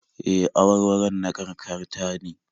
E, awarwaron na kakar ta ne